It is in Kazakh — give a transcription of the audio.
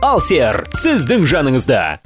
алсер сіздің жаныңызда